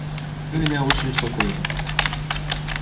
вы меня очень успокоили